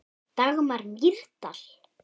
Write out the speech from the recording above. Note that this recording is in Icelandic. Dagmar Mýrdal.